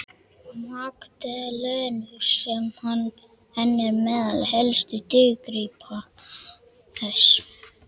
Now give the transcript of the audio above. Magdalenu sem enn er meðal helstu dýrgripa þess.